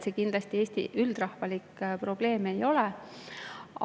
See kindlasti Eesti üldrahvalik probleem ei ole.